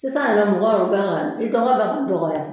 Sisan yɛrɛ mɔgɔ yɛru kan ka ni dɔgɔ bɛ dɔgɔya